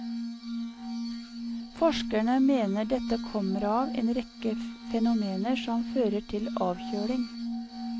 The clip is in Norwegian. Forskerne mener dette kommer av en rekke fenomener som fører til avkjøling.